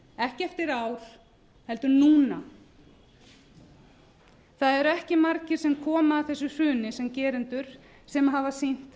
ekki eftir ár heldur núna það eru ekki margir sem koma að þessu hruni sem gerendur sem hafa sýnt